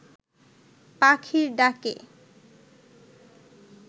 পাখির ডাকে